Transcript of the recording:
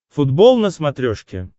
футбол на смотрешке